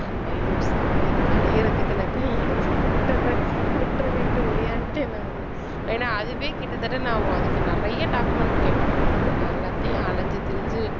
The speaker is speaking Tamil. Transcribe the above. ஐயோ சாமி இதுக்கலையறதுக்கு நான் கை எடுத்து கும்பிட்டுறேன் விட்டிருங்கன்ட்டு ஓடியாந்துட்டேன் நானு ஏன்னா அதுவே கிட்டத்தட்ட நான் அதுக்கு நிறைய documents கேட்டிருந்தாங்க நான் எல்லாத்தையும் அலைஞ்சு திரிஞ்சு